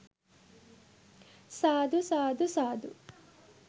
සාදු! සාදු! සාදු!